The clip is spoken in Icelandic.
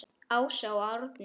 Ása og Árni.